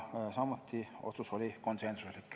Tänan teid!